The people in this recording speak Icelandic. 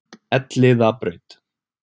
Elliðabraut